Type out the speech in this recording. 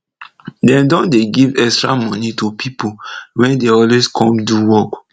dem don dey give extra moni to pipo wey dey always come do work